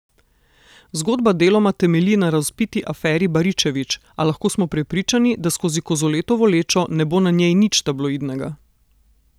Zgodba deloma temelji na razvpiti aferi Baričevič, a lahko smo prepričani, da skozi Kozoletovo lečo ne bo na njej nič tabloidnega.